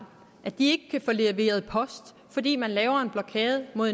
at de ikke kan få leveret post fordi man laver en blokade mod